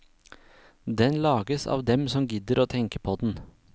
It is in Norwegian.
Den lages av dem som gidder å tenke på den.